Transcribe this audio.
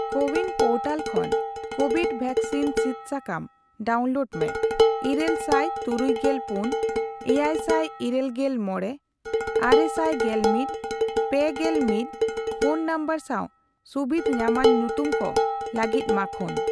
CoWIN portal ᱠᱷᱚᱱ COVID vaccine ᱥᱤᱫ ᱥᱟᱠᱟᱢ ᱰᱟᱣᱩᱱᱞᱳᱰ ᱢᱮ ᱤᱨᱟᱹᱞ ᱥᱟᱭ ᱛᱩᱨᱩᱭ ᱜᱮᱞ ᱯᱩᱱ ,ᱮᱭᱟᱭᱥᱟᱭ ᱤᱨᱟᱹᱞ ᱜᱮᱞ ᱢᱚᱲᱮ, ᱟᱨᱮᱥᱟᱭ ᱜᱮᱞ ᱢᱤᱛ, ᱯᱮ ᱜᱮᱞ ᱢᱤᱛ ᱯᱷᱚᱱ ᱱᱚᱢᱵᱚᱨ ᱥᱟᱣ ᱥᱩᱵᱤᱫᱷ ᱧᱟᱢᱟᱱ ᱧᱩᱛᱩᱢ ᱠᱚ ᱞᱟᱹᱜᱤᱫ ᱢᱟᱠᱷᱳᱱ ᱾